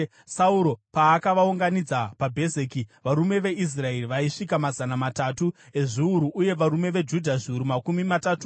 Sauro paakavaunganidza paBhezeki, varume veIsraeri vaisvika mazana matatu ezviuru uye varume veJudha zviuru makumi matatu.